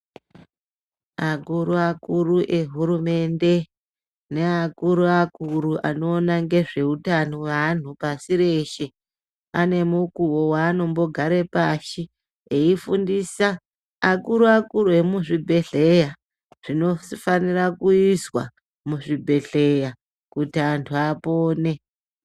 Akuru akuru ehurumende ngeakuru akuru anoona ngezveutano pasi reshe ane mukuwo wanogare pashi eyifundisa akuru akuru emuzvibhehleya zvinofana kuizwa muzvibhehleya kuti antu apone.